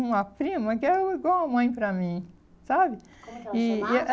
uma prima que era igual a mãe para mim, sabe? Como que ela chamava? E e a